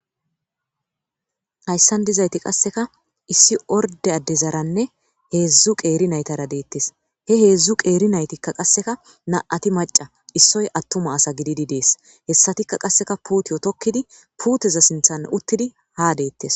hayssan dizayti qasseka issi orde addezaranne heedzdzu qeeri naytara deettes he heedzdzu qeeri naytikka qasseka na'ati maca issoy attuma asa gididi dees hessatikka qasseka puutiyo tokkidi puuteza sinthan uttidi ha deettes